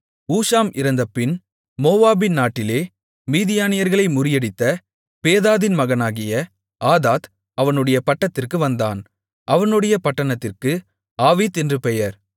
ஊஷாம் இறந்தபின் மோவாபின் நாட்டிலே மீதியானியர்களை முறியடித்த பேதாதின் மகனாகிய ஆதாத் அவனுடைய பட்டத்திற்கு வந்தான் அவனுடைய பட்டணத்திற்கு ஆவீத் என்று பெயர்